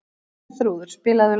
Herþrúður, spilaðu lag.